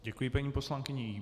Děkuji paní poslankyni.